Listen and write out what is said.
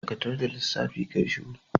Dakatar da lissafi, ka yi shuru!